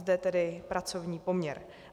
Zde tedy pracovní poměr.